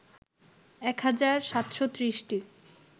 ১ হাজার ৭৩০টি